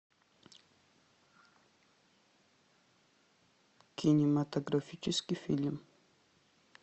кинематографический фильм